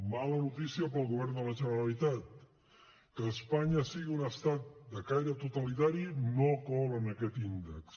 mala notícia per al govern de la generalitat que espanya sigui un estat de caire totalitari no cola en aquest índex